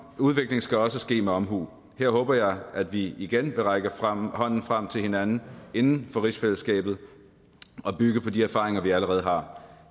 udvikling skal også ske med omhu her håber jeg at vi igen vil række hånden frem til hinanden inden for rigsfællesskabet og bygge på de erfaringer vi allerede har